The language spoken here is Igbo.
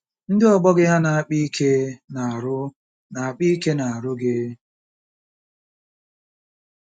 Ndị ọgbọ gị hà na-akpa ike n'ahụ́ na-akpa ike n'ahụ́ gị?